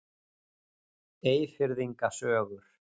Eyfirðinga sögur.